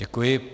Děkuji.